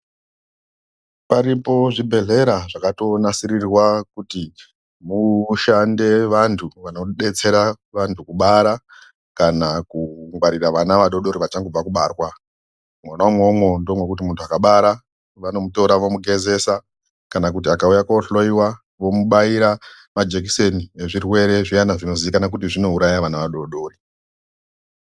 Aripo zvibhehlera zvakatonasirirwa kuti mushande vantu vanodetsera vantu kubara kana kungwarire ana adodori achangobve kubarwa .Mwona imwomwo ndimona mwokuti muntu akabara vanomutora vomugezesa .Kana akauye kohloiwa ,vomutora vomubaya majekiseni ezvirwere zviyana zvinoziikanwa kuti zvorape ana adodori.